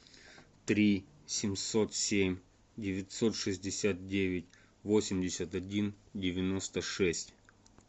три семьсот семь девятьсот шестьдесят девять восемьдесят один девяносто шесть